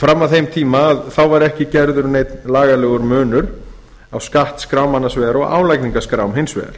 fram að þeim tíma var ekki gerður neinn lagalegur munur á skattskrám annars vegar og álagningarskrám hins vegar